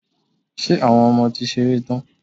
Ṣé Àwọn ọmọ ti ṣeré tán?